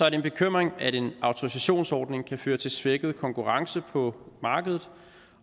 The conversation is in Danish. en bekymring at en autorisationsordning kan føre til en svækket konkurrence på markedet